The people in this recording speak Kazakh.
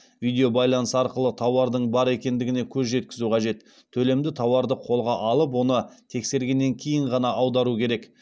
видеобайланыс арқылы тауардың бар екендігіне көз жеткізу қажет төлемді тауарды қолға алып оны тексергеннен кейін ғана аудару керек